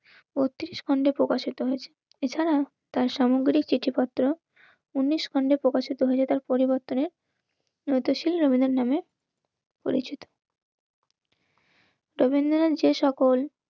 অতি ছন্দে প্রকাশিত হয়েছে. এছাড়া তার সামগ্রিক চিঠিপত্র উনিশ খন্ডে প্রকাশিত হয়েছে তার পরিবর্তনের. নতুন শীল রবীন্দ্রনাথের নামে পরিচিত রবীন্দ্রনাথ যে সকল